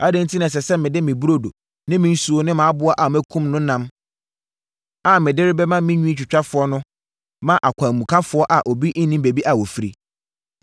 Adɛn enti na ɛsɛ sɛ mede me burodo ne me nsuo ne mʼaboa a makum no ɛnam a mede rebɛma me nwitwitwafoɔ no ma akwanmukafoɔ a obi nnim baabi a wɔfiri?”